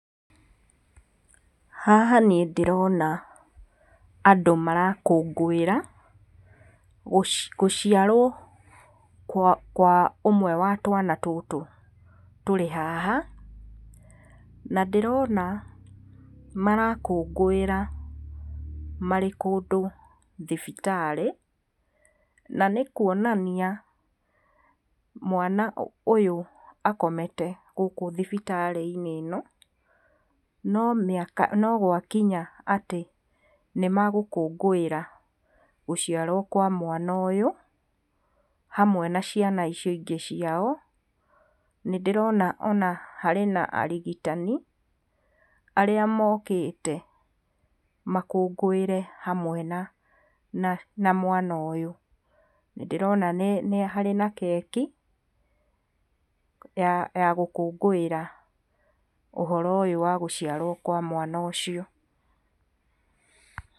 Haha niĩ ndĩrona andũ marakũngũĩra gũciarwo kwa, kwa ũmwe wa twana tũtũ tũrĩ haha. Na ndĩrona marakũngũĩra marĩ kũndũ thibitarĩ, na nĩ kuonania mwana ũyũ akomete gũkũ thibitarĩ-inĩ ĩno, no mĩaka, no gwakinya atĩ nĩ magũkũngũĩra gũciarwo kwa mwana ũyũ hamwe na ciana icio ingĩ ciao. Nĩ ndĩrona ona harĩ na arigitani arĩa mokĩte makũngũĩre hamwe na, na, na mwana ũyũ. Nĩ ndĩrona nĩ, nĩ harĩ na keki ya, ya gũkũngũĩra ũhoro ũyũ wa gũciarwo kwa mwano ũcio.